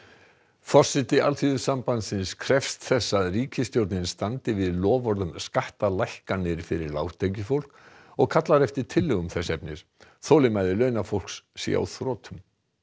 forseti Alþýðusambandsins krefst þess að ríkisstjórnin standi við loforð um skattalækkanir fyrir lágtekjufólk og kallar eftir tillögum þess efnis þolinmæði launafólks sé á þrotum